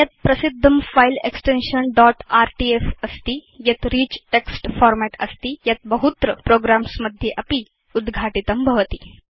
अन्यत् प्रसिद्धं file extension dot RTF अस्ति यत् रिच् टेक्स्ट् फॉर्मेट् अस्ति यत् बहुत्र प्रोग्राम्स् मध्ये अपि उद्घाटितं भवति